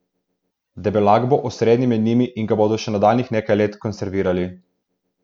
Deblak bo osrednji med njimi in ga bodo še nadaljnjih nekaj let konservirali.